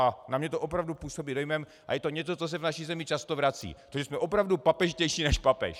A na mě to opravdu působí dojmem, a je to něco, co se v naší zemi často vrací, to, že jsme opravdu papežštější než papež.